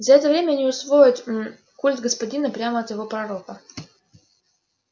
за это время они усвоят м культ господина прямо от его пророка